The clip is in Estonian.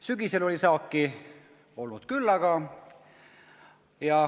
Sügisel oli saaki olnud küllaga.